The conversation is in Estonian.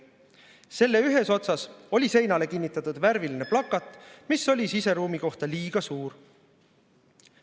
Selle ühes otsas oli seinale kinnitatud värviline plakat, mis oli siseruumi kohta liiga suur.